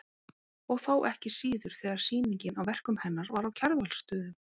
Og þá ekki síður þegar sýningin á verkum hennar var á Kjarvalsstöðum.